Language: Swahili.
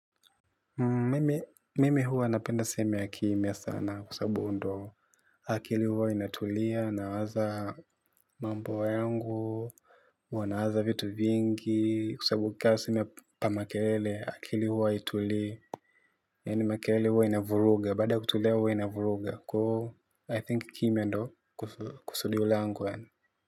Mimi huwa napenda sehemu ya kimya sana kwa sababu huo ndo akili huwa inatulia, nawaza mambo yangu huwa nawaza vitu vingi, kwa sababu ka sina pa makelele, akili huwa haitulii. Yaani makelele huwa inavuruga, baada ya kutulia huwa inavuruga, kwaivo I think kimya ndio kusudio langu yaani.